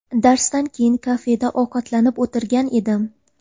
Darsdan keyin kafeda ovqatlanib o‘tirgan edim.